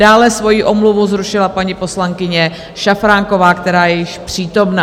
Dále svoji omluvu zrušila paní poslankyně Šafránková, která je již přítomna.